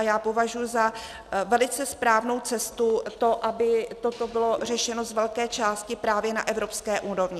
A já považuji za velice správnou cestu to, aby toto bylo řešeno z velké části právě na evropské úrovni.